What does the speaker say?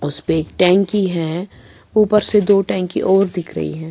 .اسپے ایک ٹینکی ہیں اپر سے دو ٹینکی اور دیکھ رہی ہیں